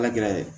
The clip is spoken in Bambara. Ala gɛrɛ